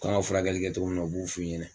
K'an ka furakɛli kɛ cogo min na u b'a f'i ɲɛna